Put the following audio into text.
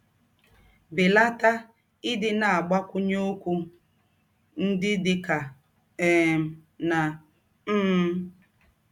Belata ịdị na - agbakwụnye ọkwụ ndị dị ka ‘ eem ’ na ‘ mmm. ’”